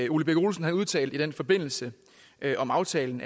ole birk olesen udtalte i den forbindelse om aftalen